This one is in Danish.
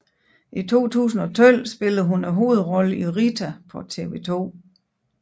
I 2012 spillede hun hovedrollen i Rita på TV 2